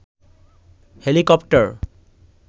helicopter